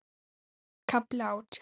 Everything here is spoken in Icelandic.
KAFLI ÁTJÁN